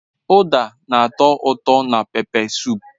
Uda na-ato uto na pepe sup.